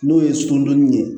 N'o ye sundonni ye